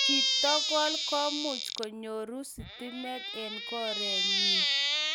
chitokol komuch konyoru sitimet en korenyii